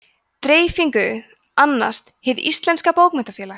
dreifingu annast hið íslenska bókmenntafélag